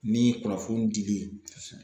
Ni kunnafoni dili kosɛbɛ